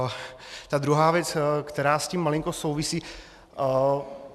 A druhá věc, která s tím malinko souvisí.